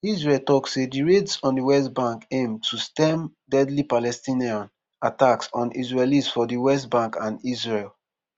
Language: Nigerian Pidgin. israel tok say di raids on di west bank aim to stem deadly palestinian attacks on israelis for di west bank and israel.